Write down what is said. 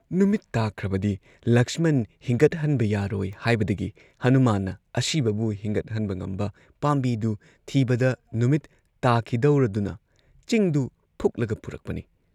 ꯅꯨꯃꯤꯠ ꯇꯥꯈ꯭ꯔꯕꯗꯤ ꯂꯛꯁꯃꯟ ꯍꯤꯡꯒꯠꯍꯟꯕ ꯌꯥꯔꯣꯏ ꯍꯥꯏꯕꯗꯒꯤ ꯍꯅꯨꯃꯥꯟꯅ ꯑꯁꯤꯕꯕꯨ ꯍꯤꯡꯒꯠꯍꯟꯕ ꯉꯝꯕ ꯄꯥꯝꯕꯤꯗꯨ ꯊꯤꯕꯗ ꯅꯨꯃꯤꯠ ꯇꯥꯈꯤꯗꯧꯔꯗꯨꯅ ꯆꯤꯡꯗꯨ ꯐꯨꯛꯂꯒ ꯄꯨꯔꯛꯄꯅꯤ ꯫